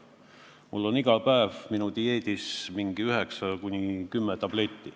Mul on iga päev menüüs mingid 9–10 tabletti.